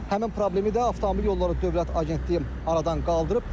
Həmin problemi də avtomobil yolları dövlət agentliyi aradan qaldırıb.